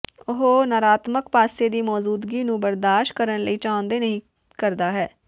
ਉਹ ਨਕਾਰਾਤਮਕ ਪਾਸੇ ਦੀ ਮੌਜੂਦਗੀ ਨੂੰ ਬਰਦਾਸ਼ਤ ਕਰਨ ਲਈ ਚਾਹੁੰਦੇ ਨਹੀ ਕਰਦਾ ਹੈ